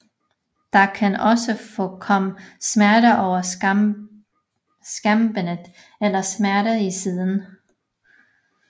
Der kan også forekomme smerter over skambenet eller smerter i siden